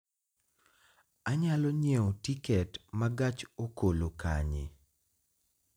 Anyalo nyiewo tiket ma gach okolokanye